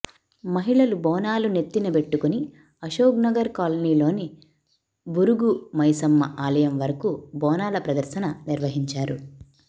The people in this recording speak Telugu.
మహిళలు బోనాలు నెత్తిన బెట్టుకొని అశోక్నగర్ కాలనీలోని బురుగు మైశమ్మ ఆలయం వరకు బోనాల ప్రదర్శన నిర్వహించారు